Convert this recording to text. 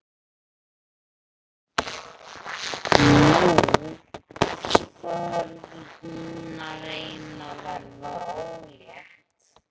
Nú, þá er hún að reyna að verða ólétt.